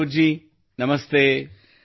ಗೌರವ್ ಜಿ ನಮಸ್ತೆ